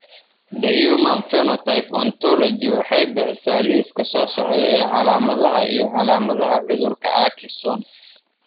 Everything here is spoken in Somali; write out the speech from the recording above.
The Human Phenotype Ontology waxay bixisaa liiska soo socda ee calaamadaha iyo calaamadaha cudurka Akesson.